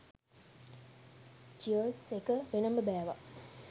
Cheers එක වෙනම බෑවා.